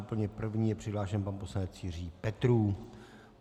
Úplně první je přihlášen pan poslanec Jiří Petrů.